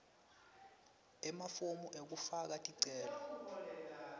emafomu ekufaka ticelo